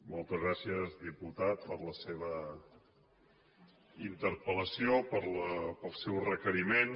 moltes gràcies diputat per la seva interpel·lació pel seu requeriment